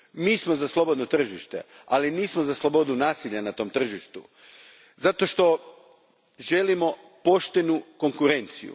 Mi smo za slobodno tržište, ali nismo za slobodu nasilja na tom tržištu, zato što želimo poštenu konkurenciju.